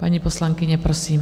Paní poslankyně, prosím.